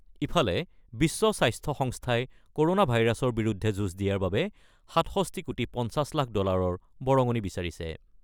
ইফালে বিশ্ব স্বাস্থ্য সংস্থাই ক'ৰ'ণা ভাইৰাছৰ বিৰুদ্ধে যুঁজ দিয়াৰ বাবে ৬৭ কোটি ৫০ লাখ ডলাৰৰ বৰঙণি বিচাৰিছে।